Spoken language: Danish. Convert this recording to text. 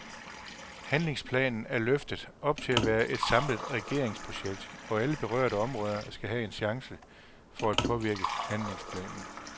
Handlingsplanen er løftet op til at være et samlet regeringsprojekt, og alle berørte områder skal have en chance for at påvirke handlingsplanen.